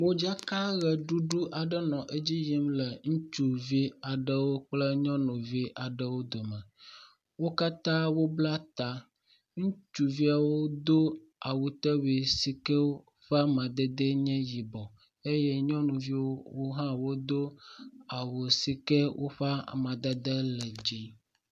Modzaka ʋeɖuɖu aɖe nɔ edzi yim le ŋutsuvi kle nyɔnuvi aɖewo dome. Wo katã wobla ta. Ŋutsuviawo wodo awutewui si ke woƒe amadede nye yibɔ eye nyɔnuviwo hã wodo awu sike woƒe amadede le dzi.